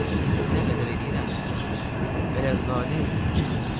İndi nə qədər eləyirəm, vələzzalin çıxmır.